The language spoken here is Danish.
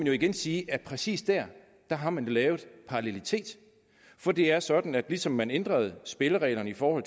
jo igen siges at præcis der har man lavet parallelitet for det er sådan at ligesom man ændrede spillereglerne for